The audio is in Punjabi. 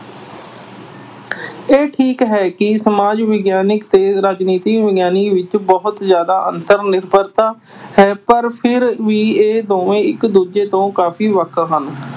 ਇਹ ਠੀਕ ਹੈ ਕਿ ਸਮਾਜਿਕ ਵਿਗਿਆਨ ਤੇ ਰਾਜਿਨੀਤਿਕ ਵਿਗਿਆਨ ਵਿੱਚ ਬਹੁਤ ਜ਼ਿਆਦਾ ਅੰਤਰ-ਨਿਰਭਰਤਾ ਹੈ ਪਰ ਫਿਰ ਵੀ ਇਹ ਦੋਵੇਂ ਇੱਕ ਦੂਜੇ ਤੋਂ ਕਾਫੀ ਵੱਖ ਹਨ।